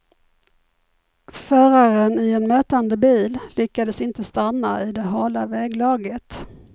Föraren i en mötande bil lyckades inte stanna i det hala väglaget.